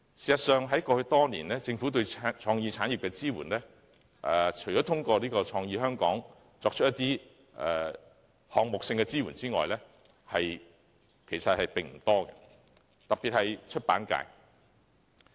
事實上，過去多年來，除了透過"創意香港"為一些項目提供支援外，政府對創意產業的支援其實並不多，出版界尤其受到忽視。